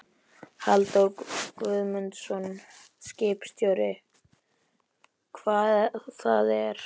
Halldór Guðmundsson, skipstjóri: Hvað það er?